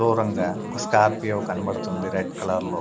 దూరంగా ఒక స్కార్పియో కనబడుతుంది రెడ్ కలర్ లో.